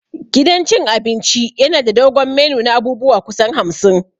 Gidan cin abinci yana da dogon menu na abubuwa kusan hamsin.